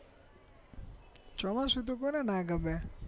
ચોમાસુંતો કોણે ના ગમે